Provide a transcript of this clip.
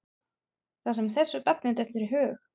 Það sem þessu barni dettur í hug.